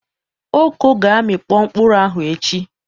Oko ga-amịkpo mkpụrụ ahụ echi.